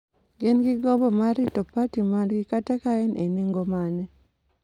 gin gi gombo mar rito parti margi kata ka en e nengo mane,